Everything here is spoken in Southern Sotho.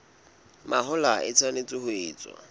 mahola e tshwanetse ho etswa